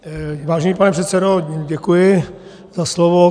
Vážený pane předsedo, děkuji za slovo.